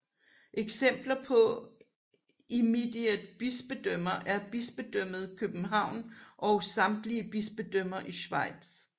Eksempler på immediate bispedømmer er Bispedømmet København og samtlige bispedømmer i Schweiz